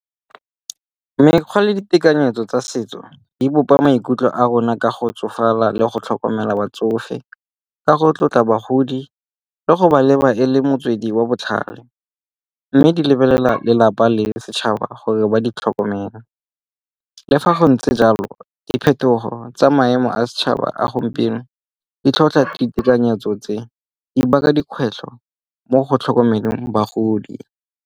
Mekgwa le ditekanyetso tsa setso di bopa maikutlo a rona ka go tsofala le go tlhokomela batsofe, ka go tlotla bagodi le go ba leba e le motswedi wa botlhale. Mme ke lebelela lelapa le setšhaba gore ba di tlhokomele. Le fa go ntse jalo diphetogo tsa maemo a setšhaba a gompieno di tlhotlha ditekanyetso tse. Di baka dikgwetlho mo go tlhokomelong bagodi.